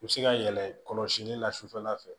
U bɛ se ka yɛlɛ kɔlɔsili la sufɛla fɛ